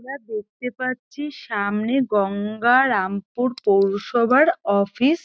আমরা দেখতে পাচ্ছি সামনে গঙ্গারামপুর পৌরসভার অফিস ।